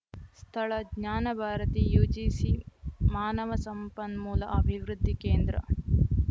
ಸ್ಥಳ ಜ್ಞಾನ ಭಾರತಿ ಯುಜಿಸಿ ಮಾನವ ಸಂಪನ್ಮೂಲ ಅಭಿವೃದ್ಧಿ ಕೇಂದ್ರ